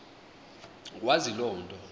wazi loo nto